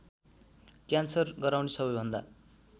cancer गराउने सबैभन्दा